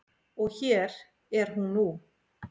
Og hér er hún nú.